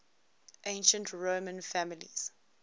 ancient roman families